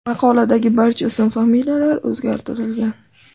Maqoladagi barcha ism-familiyalar o‘zgartirilgan.